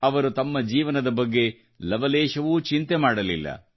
ಅವರು ತಮ್ಮ ಜೀವನದ ಬಗ್ಗೆ ಲವಲೇಶವೂ ಚಿಂತೆಮಾಡಲಿಲ್ಲ